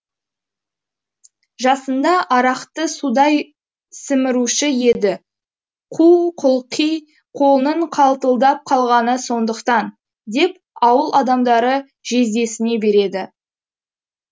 жасында арақты судай сіміруші еді қу құлқи қолының қалтылдап қалғаны сондықтан деп ауыл адамдары жездесіне береді